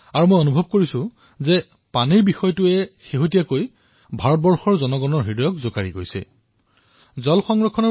মই অনুভৱ কৰিছো যে এই বিষয়টোৱে দেশবাসীৰ হৃদয় স্পৰ্শ কৰিবলৈ সমৰ্থ হৈছে